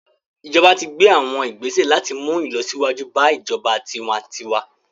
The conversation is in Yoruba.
Ijọba ti gbe awọn igbese lati mu ilọsiwaju ba ijọba tiwantiwa